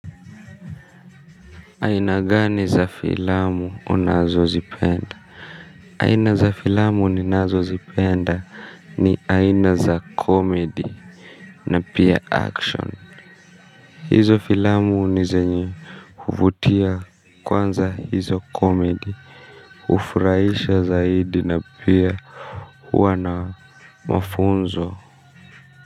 Aina gani za filamu unazo zipenda? Aina za filamu ninazo zipenda. Ni aina za comedy na pia action. Hizo filamu ni zenye kuvutia kwanza hizo comedy hufuraisha zaidi na pia huwa na mafunzo.